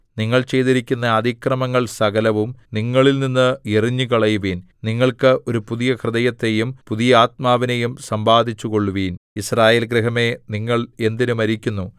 നിങ്ങൾ ചെയ്തിരിക്കുന്ന അതിക്രമങ്ങൾ സകലവും നിങ്ങളിൽനിന്ന് എറിഞ്ഞുകളയുവിൻ നിങ്ങൾക്ക് ഒരു പുതിയ ഹൃദയത്തെയും പുതിയ ആത്മാവിനെയും സമ്പാദിച്ചുകൊള്ളുവിൻ യിസ്രായേൽ ഗൃഹമേ നിങ്ങൾ എന്തിന് മരിക്കുന്നു